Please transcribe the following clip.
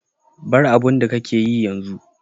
Bar abun da ka ke yi yanzu.